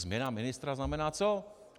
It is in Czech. Změna ministra znamená co?